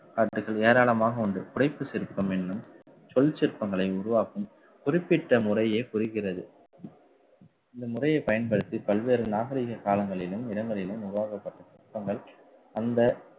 ஏராளமாக உண்டு. புடைப்புச் சிற்பம் என்னும் சொல் சிற்பங்களை உருவாக்கும் குறிப்பிட்ட முறைய குறிக்கிறது. இந்த முறைய பயன்படுத்தி பல்வேறு நாகரிக காலங்களிலும் இடங்களிலும் உருவாக்கப்பட்ட சிற்பங்கள் அந்த